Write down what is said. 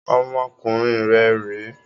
Ọmọkùnrin rẹ rè é!